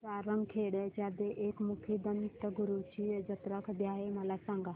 सारंगखेड्याच्या एकमुखी दत्तगुरूंची जत्रा कधी आहे मला सांगा